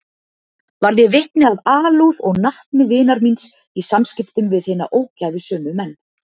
Varð ég vitni að alúð og natni vinar míns í samskiptum við hina ógæfusömu menn.